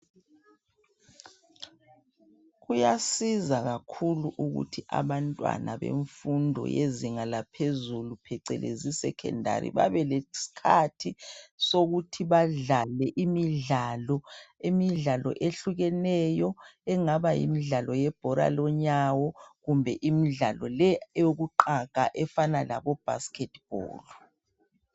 Kuyasiza kakhulu ukuthi abantwana bemfundo yezinga laphezulu phecelezi secondary babeleskhathi sokuthi badlale imidlalo. Imidlalo ehlukeneyo engaba yimidlalo yebhola lenyawo kumbe imidlalo le eyokuqaga efana labobasket ball.